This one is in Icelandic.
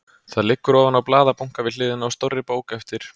Það liggur ofan á blaðabunka við hliðina á stórri bók eftir